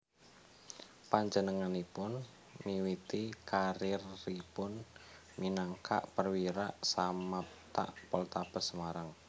Panjenenganipun miwiti kariéripun minangka Perwira Samapta Poltabes Semarang